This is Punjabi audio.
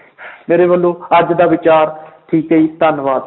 ਮੇਰੇ ਵੱਲੋਂ ਅੱਜ ਦਾ ਵਿਚਾਰ ਠੀਕ ਹੈ ਜੀ ਧੰਨਵਾਦ।